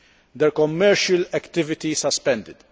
their commercial activities suspended